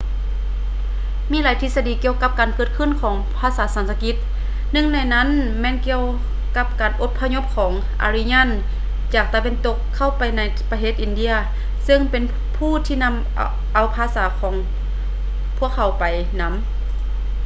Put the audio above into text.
ມີຫຼາຍທິດສະດີກ່ຽວກັບການເກີດຂຶ້ນຂອງ ພາສາສັນສະກິດ. ໜຶ່ງໃນນັ້ນແມ່ນກ່ຽວກັບການອົບພະຍົບຂອງ ອາຣິຢານ aryan ຈາກຕາເວັນຕົກ ເຂົ້າໄປໃນປະເທດອິນເດຍ ຊຶ່ງເປັນຜູ້ທີ່ນຳເອົາພາສາຂອງພວກເຂົາໄປນຳ